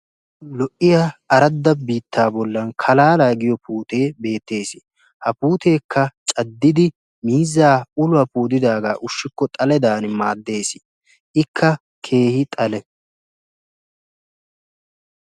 lo'iya aradda biittaa bollan kalaalaa giyo puutee beettees. ha puuteekka caddidi miizzaa uluwaa puutidaagaa ushshikko xaledan maaddees. ikka keehi xale.